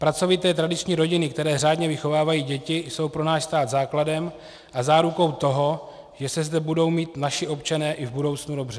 Pracovité tradiční rodiny, které řádně vychovávají děti, jsou pro náš stát základem a zárukou toho, že se zde budou mít naši občané i v budoucnu dobře.